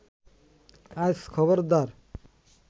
আজ খবরদার